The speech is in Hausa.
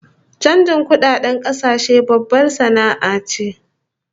Chanjin kudadedn kasashe babbar sana'a ce